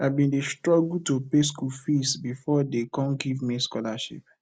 i bin dey struggle to pay skool fees before dey come give me scholarship